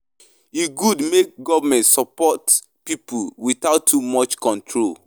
E good make government support pipo without too much control.